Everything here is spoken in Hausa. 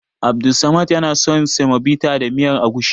Abdussamad yana son semovita da miyar agushi.